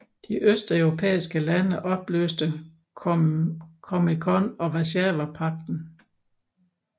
De østeuropæiske lande opløste COMECON og Warszawapagten